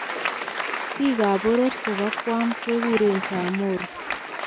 Biik ab boror chebo Guam keguren Chamorro.